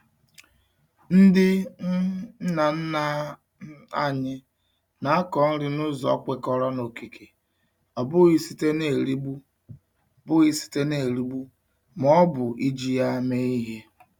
Ndị um nna nna um anyị na-akọ nri n'ụzọ kwekọrọ n'okike, ọ bụghị site n'erigbu bụghị site n'erigbu ma ọ bụ iji ya eme ihe.